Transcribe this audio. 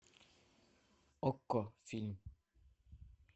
окко фильм